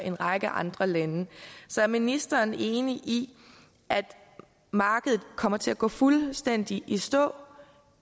en række andre lande så er ministeren enig i at markedet kommer til at gå fuldstændig i stå